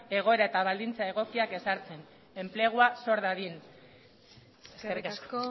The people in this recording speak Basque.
egoera eta baldintza egokiak ezartzen enplegua sor dadin eskerrik asko